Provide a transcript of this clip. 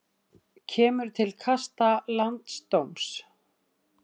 Kemur til kasta landsdóms